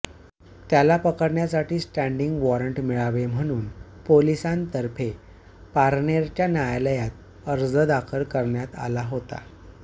त्याला पकडण्यासाठी standing warrant मिळावे म्हणून पोलिसांतर्फे पारनेरच्या न्यायालयात अर्ज दाखल करण्यात आला होता